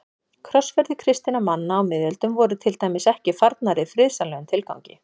Krossferðir kristinna manna á miðöldum voru til dæmis ekki farnar í friðsamlegum tilgangi.